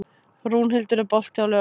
Rúnhildur, er bolti á laugardaginn?